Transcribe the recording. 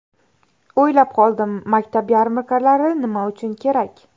O‘ylab qoldim, maktab yarmarkalari nima uchun kerak?